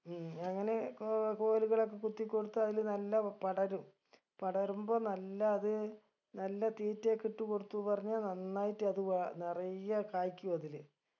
ഉം അങ്ങനെ കോ കോലുകളൊക്കെ കുത്തിക്കൊടുത്തു അതില് നല്ല പടരും പടരുമ്പം നല്ല അത് നല്ല തീറ്റയൊക്കെ ഇട്ട് കൊടുത്തു പറഞ്ഞ നന്നായിട്ട് അത് വ നിറയെ കായ്ക്കു അതില്